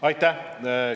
Aitäh!